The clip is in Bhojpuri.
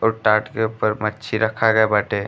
और टाट के ऊपर मच्छी रखा गए बाटे।